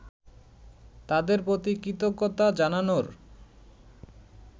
তাদের প্রতি কৃতজ্ঞতা জানানোর